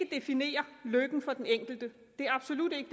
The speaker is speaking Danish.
definere lykken for den enkelte det er absolut ikke